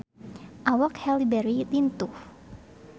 Awak Halle Berry lintuh